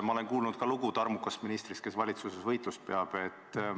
Ma olen kuulnud ka lugu tarmukast ministrist, kes valitsuses võitlust peab.